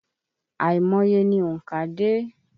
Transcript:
Àìmọye ni ònkà dé.